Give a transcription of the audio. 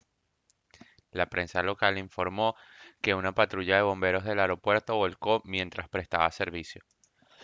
la prensa local informó que una patrulla de bomberos del aeropuerto volcó mientras prestaba servicio